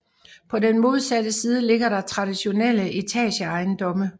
På den modsatte side ligger der traditionelle etageejendomme